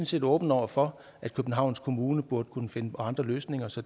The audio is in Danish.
set åbne over for at københavns kommune burde kunne finde på andre løsninger så